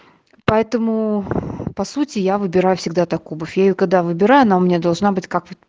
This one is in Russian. поэтому по сути я выбираю всегда так куба фею когда выбираю она у меня должна быть как вот